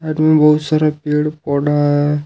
आदमी बहुत सारा पेड़ पौढा है।